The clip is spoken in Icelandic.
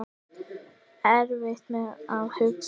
Erfitt með að hugsa.